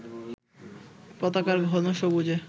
পতাকার ঘন সবুজে